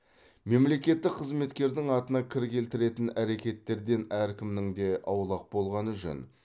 мемлекеттік қызметкердің атына кір келтіретін әрекеттерден әркімнің де аулақ болғаны жөн